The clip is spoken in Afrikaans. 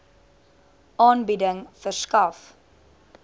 aanbieding verskaf